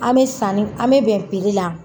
An bɛ sanni an bɛ bɛn la.